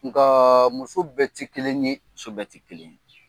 Nkaa muso bɛɛ te kelen ye. Muso bɛ te kelen ye.